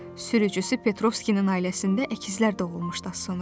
Sürücüsü Petrovskinin ailəsində əkizlər də doğulmuşdu az sonra.